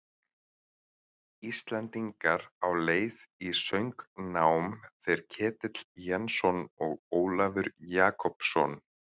Íslendingar á leið í söngnám, þeir Ketill Jensson og Ólafur Jakobsson.